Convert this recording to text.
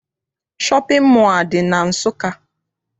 Shọpịn mọọ adị na Nsụka?